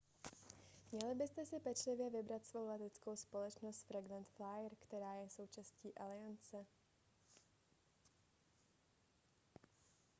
měli byste si pečlivě vybrat svou leteckou společnost frequent flyer která je součástí aliance